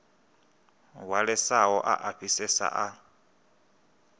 hwalesaho a a fhisesa a